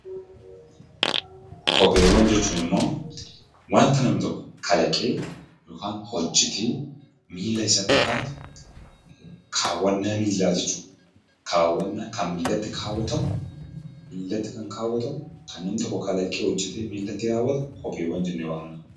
Kopheewwan jechuun immoo wantaa namni tokko kalaqee yookaan hojeete milaa isatti kawwatu kawwana milaa jechuudha. Kan namni tokko kalaqee milaati kawwatu kopheewwan jenne waamnaa.